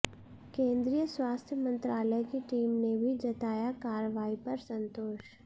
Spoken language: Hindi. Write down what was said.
केंद्रीय स्वास्थ्य मंत्रालय की टीम ने भी जताया कार्रवाई पर संतोष